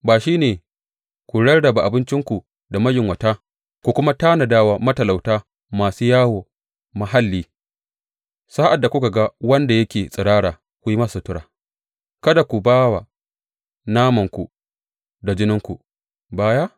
Ba shi ne ku rarraba abincinku da mayunwata ku kuma tanada wa matalauta masu yawo mahalli, sa’ad da kuka ga wanda yake tsirara, ku yi masa sutura, kada kuma ku ba wa namanku da jininku baya?